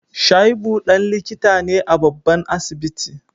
Shaibu dan likita ne a babban asibiti